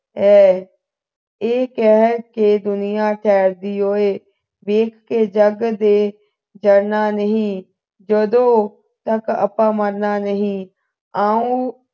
ਹੈ ਇਹ ਕਹਿ ਕੇ ਦੁਨੀਆਂ ਕਿਹੋ ਜਿਹੀ ਹੋਵੇ ਵੇਖ ਕੇ ਜੱਗ ਦੇ ਜਾਣਾ ਨਹੀਂ ਜਦੋਂ ਤਕ ਆਪਾ ਮਰਨਾ ਨਹੀਂ ਆਓ